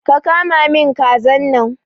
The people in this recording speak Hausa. Ka kama min kazan nan!